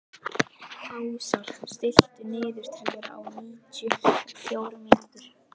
Ásar, stilltu niðurteljara á níutíu og fjórar mínútur.